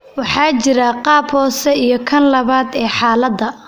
Waxaa jira qaab hoose iyo kan labaad ee xaaladda.